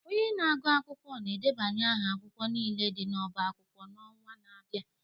Onye na-agụ akwụkwọ ga-edebanye aha akwụkwọ niile dị n'ọbá akwụkwọ n'ọnwa na-abịa